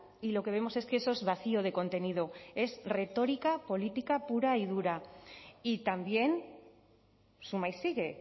y lo que vemos es que eso es vacío de contenido es retórica política pura y dura y también suma y sigue